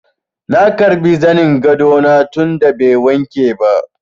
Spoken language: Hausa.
Na karbi zanin gado na tun da bai wanke ba.